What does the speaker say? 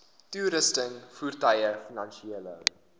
toerusting voertuie finansiële